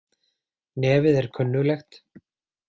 Nefið er kunnuglegt.